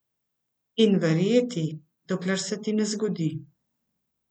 In verjeti, dokler se ti ne zgodi.